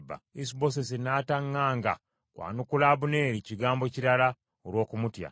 Isubosesi n’ataŋŋaanga kwanukula Abuneeri kigambo kirala, olw’okumutya.